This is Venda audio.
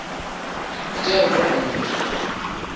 dzi tea u bveledza nyito